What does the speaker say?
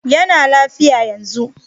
Yana lafiya yanzu.